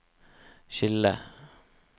skille